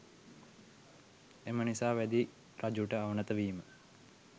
එම නිසා වැදි රජුට අවනත වීම